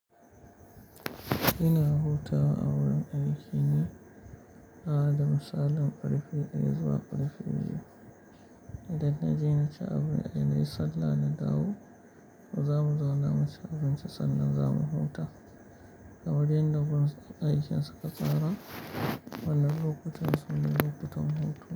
Ina hutawa a wurin aiki ne, da misalin ƙarfe ɗaya zuwa ƙarfe biyu. Idan na je na ci abin da na yi sallah na dawo, mu zamu zauna mu ci abinci sannan zamu huta. A wurin da gun aikin suka tsara, mana bukukuwan sun yi bukukuwan hutu.